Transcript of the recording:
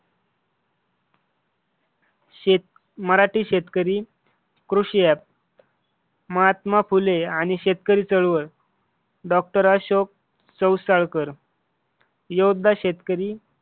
शेत मराठी शेतकरी कृषी App, महात्मा फुले आणि शेतकरी चळवळ डॉक्टर अशोक चौसाळकर. योद्धा शेतकरी